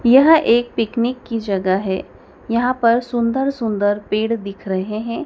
यह एक पिकनिक की जगह है यहां पर सुंदर सुंदर पेड़ दिख रहे हैं।